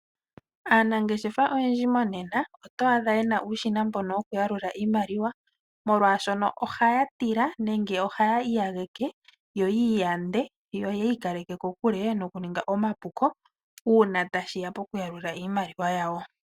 Aanangeshefa oyendji monena yena uushina mbono woku yalula iimaliwa molwashono ohaya tila nenge ohaya iyageke yo oyi iyande yo oyi ikaleke kokule noku ninga omapuko uuna tashiya poku yalula iimaliwa yawo.